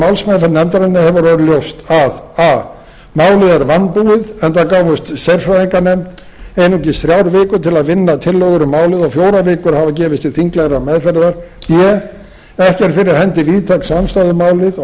málsmeðferð nefndarinnar hefur orðið ljóst að a málið er vanbúið enda gáfust sérfræðinganefnd einungis þrjár vikur til að vinna tillögur um málið og fjórar vikur hafa gefist til þinglegrar meðferðar b ekki er fyrir hendi víðtæk samstaða um málið og